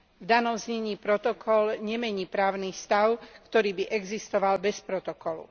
V danom znení protokol nemení právny stav, ktorý by existoval bez protokolu.